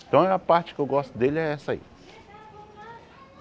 Então, a parte que eu gosto dele é essa aí.